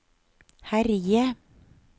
herje